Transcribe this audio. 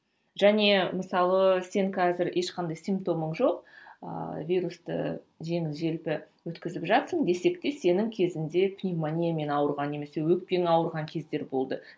және мысалы сен қазір ешқандай симптомың жоқ ыыы вирусты жеңіл желпі өткізіп жатсың десек те сенің кезіңде пневмониямен ауырған немесе өкпең ауырған кездері болды